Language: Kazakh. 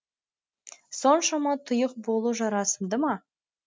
соншама тұйық болу жарасымды ма